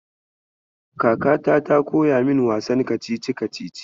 Kakata ta koya min wasan kacici-kacici.